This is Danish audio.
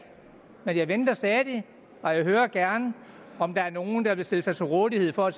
men jeg venter stadig og jeg hører gerne om der er nogen der tør stille sig til rådighed for